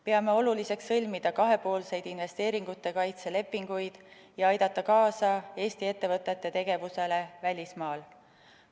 Peame oluliseks sõlmida kahepoolseid investeeringute kaitse lepinguid ja aidata kaasa Eesti ettevõtete tegevusele välismaal.